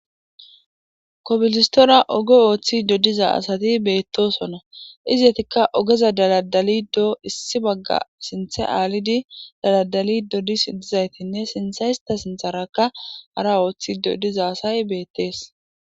kobilistora ogo ooththido diza asati beettosona izetikka ogeza daladalidoo issi bagga sinthe aalidi daladalido dis dizaytinne sinthe hista sintharakka hara ooththido diza asay beettees